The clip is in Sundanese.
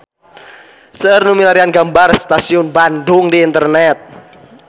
Seueur nu milarian gambar Stasiun Bandung di internet